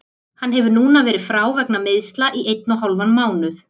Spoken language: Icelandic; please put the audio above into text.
Hann hefur núna verið frá vegna meiðsla í einn og hálfan mánuð.